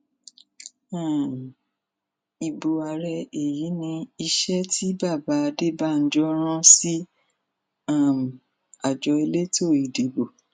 um ibo ààrẹ èyí ni iṣẹ tí baba adébánjọ rán sí um àjọ elétò ìdìbò